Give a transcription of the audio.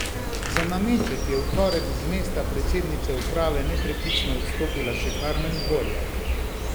Za nameček je v torek z mesta predsednice uprave nepreklicno odstopila še Karmen Dvorjak.